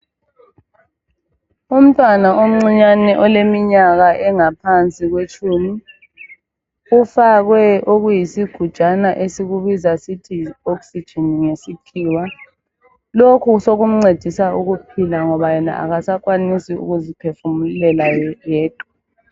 Umntwana omncinyane oleminyaka engaphansi kwetshumi ufake isigujana esikubiza sisithi yi "Oxygen" ngesikhiwa lokhu sokumncedisa ukuphila ngoba yena kasakwanisi ukuziphefumulela yedwa.